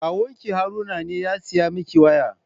Kawun ki Haruna ne ya saya miki waya?